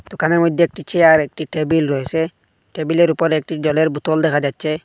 দোকানের মইদ্যে একটি চেয়ার একটি টেবিল রয়েসে টেবিলের উপরে একটি জলের বোতল দেখা যাচ্ছে।